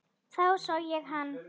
Þá sá ég hann.